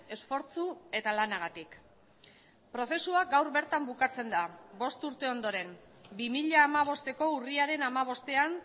esfortzu eta lanagatik prozesua gaur bertan bukatzen da bost urte ondoren bi mila hamabosteko urriaren hamabostean